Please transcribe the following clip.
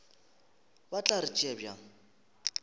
ba tla re tšea bjang